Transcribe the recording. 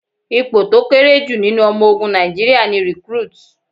Ipò tó kéré jù nínú ọmọ ogun Nàìjíríà ni Recruit.